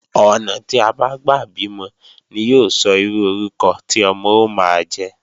Ọ̀nà tí a bá gbà bímọ ni yóò sọ irú orúkọ tí ọmọ ó máa jẹ́